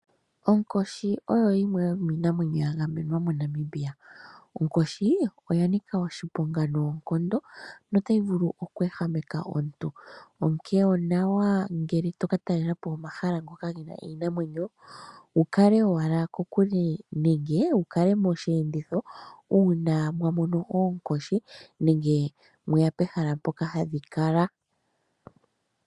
Onkoshi oyo yimwe yomiinamwenyo ya gamenwa moNamibia. Onkoshi oya nika oshiponga noonkondo notayi vulu okweehameka omuntu, onkene onawa ngele to ka talela po omahala ngoka ge na iinamwenyo, wu kale owala kokule nenge wu kale mosheenditho uuna mwa mono oonkoshi nenge mweya pehala mpoka hadhi kala.